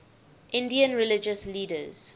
indian religious leaders